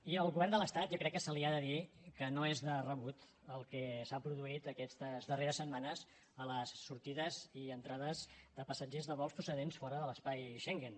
i al govern de l’estat jo crec que se li ha de dir que no és de rebut el que s’ha produït aquestes darreres setmanes a les sortides i entrades de passatgers de vols procedents de fora de l’espai schengen